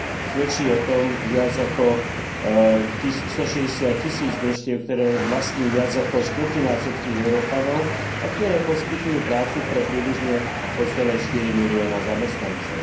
Svedčí o tom viac ako stošesťdesiattisíc družstiev, ktoré vlastní viac ako štvrtina všetkých Európanov a ktoré poskytujú prácu pre približne 2,4 milióna zamestnancov.